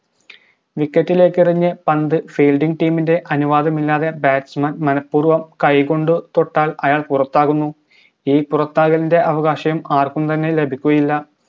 wicket ലേക്കെറിഞ്ഞ് പന്ത് fielding team ൻറെ അനുവാദമില്ലാതെ മനപ്പൂർവ്വം കൈകൊണ്ട് തൊട്ടാൽ അയാൾ പുറത്താകുന്നു ഈ പുറത്താകലിൻറെ അവകാശം ആർക്കും തന്നെ ലഭിക്കുകയില്ല